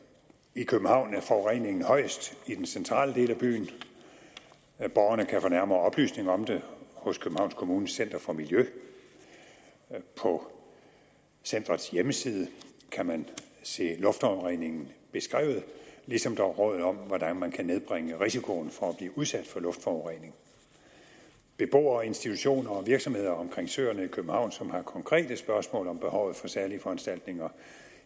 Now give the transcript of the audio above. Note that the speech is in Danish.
i københavn er forureningen højest i den centrale del af byen borgerne kan få nærmere oplysninger om det hos københavns kommunes center for miljø på centerets hjemmeside kan man se luftforureningen beskrevet ligesom der er råd om hvordan man kan nedbringe risikoen for at blive udsat for luftforurening beboere institutioner og virksomheder omkring søerne i københavn som har konkrete spørgsmål om behovet for særlige foranstaltninger